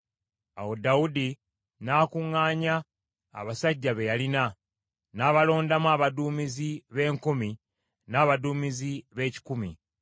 Awo Dawudi n’akuŋŋaanya abasajja be yalina, n’abalondamu abaduumizi b’enkumi n’abaduumizi b’ebikumi.